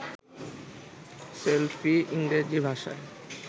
selfie ইংরেজি ভাষায়